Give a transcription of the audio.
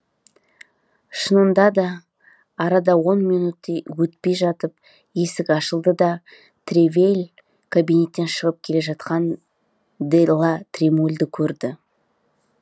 шынында да арада он минуттей өтпей жатып есік ашылды да тревиль кабинеттен шығып келе жатқан де ла тремульді көрді